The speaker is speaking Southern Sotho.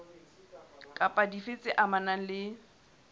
kapa dife tse amanang le